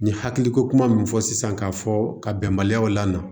N ye hakili ko kuma min fɔ sisan k'a fɔ ka bɛnbaliyaw la